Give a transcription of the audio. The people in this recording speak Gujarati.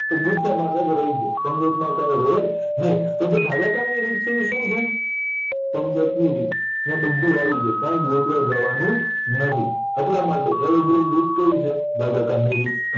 તો ગુફેમાં કયક રય જાય પંગતમાં કાય રેય નય તો જે ભાગાકારની રીત છે ઇ શું છે પંગતની રીત ન્યા બધુય આવી જાય કાય ગોતવા જવાનું નથી એટલામાટે કય છે ભાગાકારની રીત